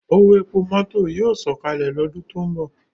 Owo epo mọto yoo sọkalẹ lọdun to nbọ